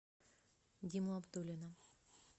диму абдуллина